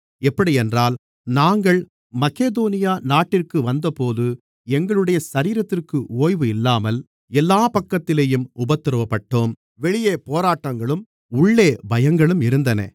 எப்படியென்றால் நாங்கள் மக்கெதோனியா நாட்டிற்கு வந்தபோது எங்களுடைய சரீரத்திற்கு ஓய்வு இல்லாமல் எல்லாப் பக்கத்திலேயும் உபத்திரவப்பட்டோம் வெளியே போராட்டங்களும் உள்ளே பயங்களும் இருந்தன